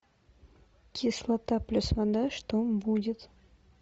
кислота плюс вода что будет